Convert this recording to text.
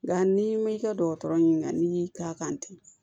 Nka n'i ma i ka dɔgɔtɔrɔ ɲininka n'i y'i k'a kan ten